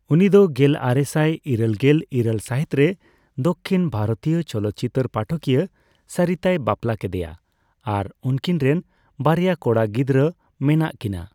ᱩᱱᱤ ᱫᱚ ᱜᱮᱞᱨᱮᱥᱟᱭ ᱤᱨᱟᱹᱞᱜᱮᱞ ᱤᱨᱟᱹᱞ ᱥᱟᱹᱦᱤᱛᱨᱮ ᱫᱚᱠᱷᱤᱱ ᱵᱷᱟᱨᱚᱛᱤᱭᱚ ᱪᱚᱞᱚᱛᱪᱤᱛᱟᱹᱨ ᱯᱟᱴᱷᱚᱠᱤᱭᱟᱹ ᱥᱚᱨᱤᱛᱟᱭ ᱵᱟᱯᱞᱟ ᱠᱮᱫᱮᱭᱟ ᱟᱨ ᱩᱱᱠᱤᱱ ᱨᱮᱱ ᱵᱟᱨᱭᱟ ᱠᱚᱲᱟ ᱜᱤᱫᱽᱨᱟᱹ ᱢᱮᱱᱟᱜ ᱠᱤᱱᱟ ᱾